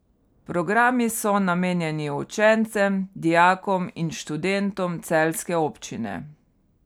Programi so namenjeni učencem, dijakom in študentom celjske občine.